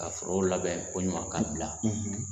Ka forow labɛn ko ɲuman ka bila.